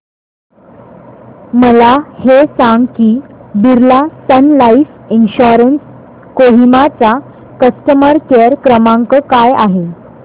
मला हे सांग की Birla Sun Life insurance Kohima चा कस्टमर केअर क्रमांक काय आहे